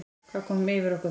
Hvað kom yfir okkur þá?